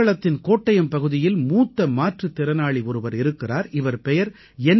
கேரளத்தின் கோட்டயம் பகுதியில் மூத்த மாற்றுத் திறனாளி ஒருவர் இருக்கிறார் இவர் பெயர் என்